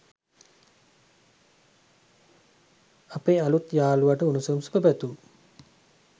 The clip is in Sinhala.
අපේ අලුත් යාලුවට උණුසුම් සුබපැතුම්